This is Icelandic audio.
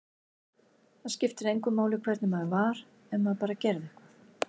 Það skipti engu máli hvernig maður var, ef maður bara gerði eitthvað.